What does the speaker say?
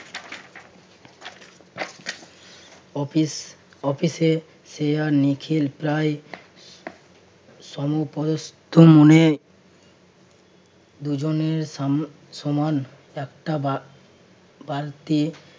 office~ অফিসে সে আর নিখিল প্রায় সমপ্রদস্থ দুজনের সম~ সমান একটা বা~ বালতির